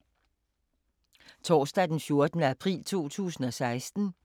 Torsdag d. 14. april 2016